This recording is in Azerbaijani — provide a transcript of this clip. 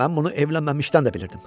Mən bunu evlənməmişdən də bilirdim.